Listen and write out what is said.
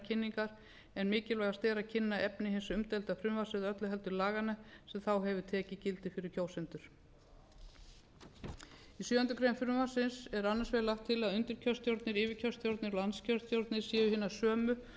kosninga en mikilvægast er að kynna efni hins umdeilda frumvarps eða öllu heldur laganna sem þá hefur tekið gildi fyrir kjósendur í sjöundu greinar frumvarpsins er annars vegar lagt til að undirkjörstjórnir yfirkjörstjórnir og landskjörstjórn séu hinar sömu